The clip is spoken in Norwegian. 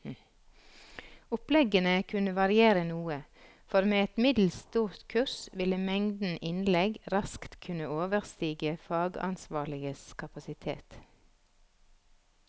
Oppleggene kunne variere noe, for med et middels stort kurs ville mengden innlegg raskt kunne overstige fagansvarliges kapasitet.